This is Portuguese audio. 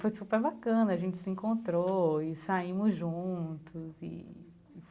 Foi super bacana, a gente se encontrou e saímos juntos e e